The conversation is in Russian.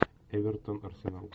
эвертон арсенал